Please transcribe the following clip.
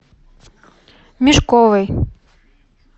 мешковой